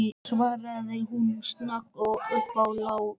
svaraði hún snögg upp á lagið.